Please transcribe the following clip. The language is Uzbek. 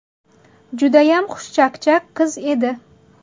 Judayam xushchaqchaq qiz edi.